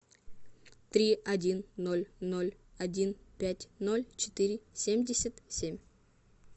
три один ноль ноль один пять ноль четыре семьдесят семь